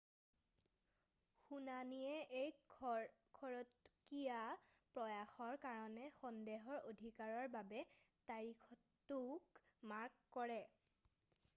শুনানিয়েও এক খৰতকীয়া প্ৰয়াসৰ কাৰণে সন্দেহৰ অধিকাৰৰ বাবে তাৰিখটোক মাৰ্ক কৰে৷